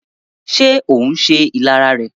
Ṣé ohùn se ìlara rẹ̀?